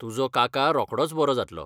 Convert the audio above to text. तुजो काका रोखडोच बरो जातलो.